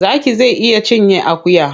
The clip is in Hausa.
Zaki zai iya cinye akuya.